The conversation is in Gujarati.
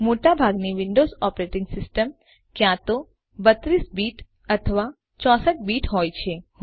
મોટા ભાગની વિન્ડોઝ ઓપરેટીંગ સિસ્ટમો ક્યાં તો 32 બીટ અથવા 64 બીટ હોય છે